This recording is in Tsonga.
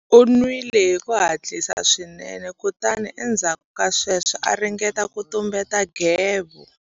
U nwile hi ku hatlisa swinene kutani endzhaku ka sweswo a ringeta ku tumbeta nghevo.